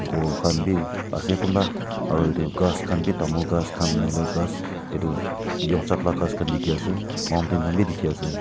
kor kan bi ase kunba aro etu kas kan bi tamul kas kan nahoi lae kas etu yonchak la kas kan tiki ase mountain kan bi tiki ase.